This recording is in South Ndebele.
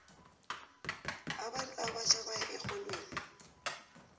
abantu abatjha baya erholweni